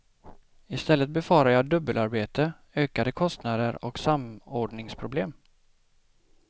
I stället befarar jag dubbelarbete, ökade kostnader och samordningsproblem.